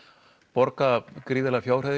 borga gríðarlega